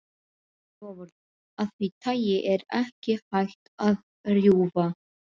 Loforð af því tagi er ekki hægt að rjúfa.